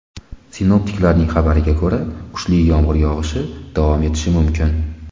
Sinoptiklarning xabariga ko‘ra, kuchli yomg‘ir yog‘ishi davom etishi mumkin.